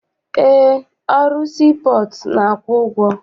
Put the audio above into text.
Eé, ọrụ sii pọọtụ na-akwụ ụgwọ.